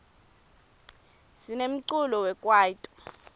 sinemculo wekwaito